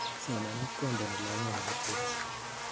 somanet kondeni longet nepo tekisto